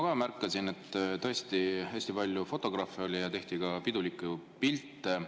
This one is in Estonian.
Ma märkasin, et tõesti hästi palju fotograafe oli ja tehti pidulikke pilte.